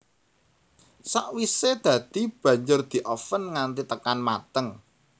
Sakwisè dadi banjur dioven nganti tekan mateng